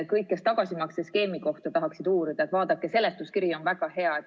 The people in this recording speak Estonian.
Kõik, kes tagasimaksete skeemi kohta tahaksid uurida, vaadake seletuskirja, see on väga hea.